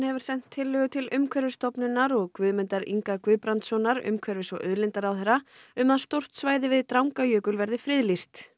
hefur sent tillögu til Umhverfisstofnunar og Guðmundar Inga Guðbrandssonar umhverfis og auðlindaráðherra um að stórt svæði við Drangajökul verði friðlýst